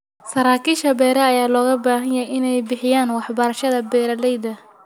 Saraakiisha beeraha ayaa looga baahan yahay in ay bixiyaan waxbarashada beeralayda.